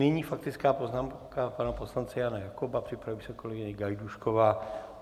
Nyní faktická poznámka pana poslance Jana Jakoba, připraví se kolegyně Gajdůšková.